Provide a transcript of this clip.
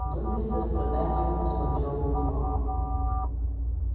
добби с состраданием посмотрел на него